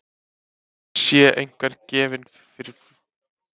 Sé einhver gefinn fyrir flug, þá er það hann Jón í Sæbóli, svaraði konan fastmælt.